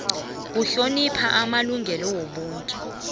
kuhlonipha amalungelo wobuntu